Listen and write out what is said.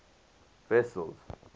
wessels